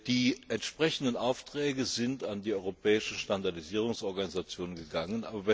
Die entsprechenden Aufträge sind an die europäischen Standardisierungsorganisationen gegangen.